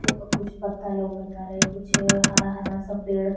और कुछ पत्ता लउकतारे कुछ हरा-हरा सा पेड़ --